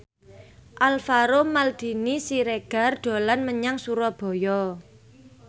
Alvaro Maldini Siregar dolan menyang Surabaya